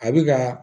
A bɛ ka